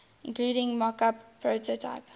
including mockup prototype